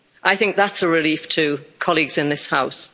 I think that's a relief to colleagues in this House.